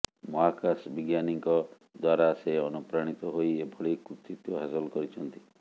ମହାକାଶ ବିଜ୍ଞାନୀଙ୍କ ଦ୍ୱାରା ସେ ଅନୁପ୍ରାଣିତ ହୋଇ ଏଭଳି କୃତିତ୍ୱ ହାସଲ କରିଛନ୍ତି